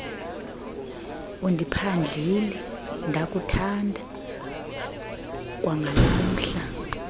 undiphandlile ndakuthanda kwangalamhla